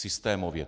Systémově.